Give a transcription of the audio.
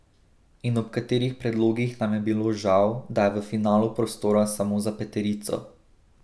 In ob katerih predlogih nam je bilo žal, da je v finalu prostora samo za peterico?